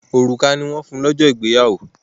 Òrùka ni wọ́n fún ìyàwó lọ́jọ́ ìgbéyàwó.